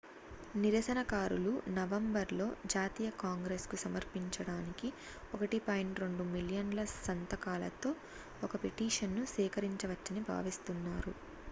నిరసనకారులు నవంబర్ లో జాతీయ కాంగ్రెస్ కు సమర్పించడానికి 1.2 మిలియన్ ల సంతకాలతో ఒక పిటిషన్ ను సేకరించవచ్చని భావిస్తున్నారు